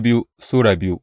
biyu Bitrus Sura biyu